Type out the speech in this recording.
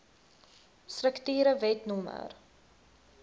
strukture wet no